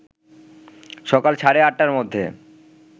সকাল সাড়ে ৮টার মধ্যে